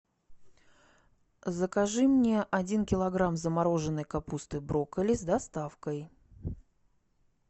закажи мне один килограмм замороженной капусты брокколи с доставкой